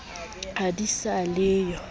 ha di sa le yo